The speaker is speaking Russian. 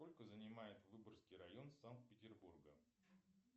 сколько занимает выборгский район санкт петербурга